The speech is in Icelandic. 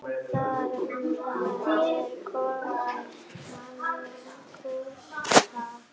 Þarna er kofinn hans Gústa.